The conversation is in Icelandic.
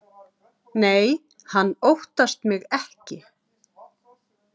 Nei, hann óttast mig ekki.